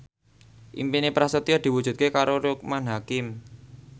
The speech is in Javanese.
impine Prasetyo diwujudke karo Loekman Hakim